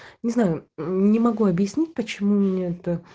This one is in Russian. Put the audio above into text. не знаю не могу объяснить почему мне это